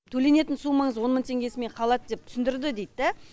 төленетін суммаңыз он мың теңгесімен қалады деп түсіндірді дейді да